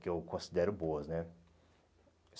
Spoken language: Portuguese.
Que eu considero boas, né?